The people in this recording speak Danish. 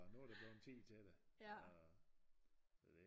Nu er det sådan tid til det så det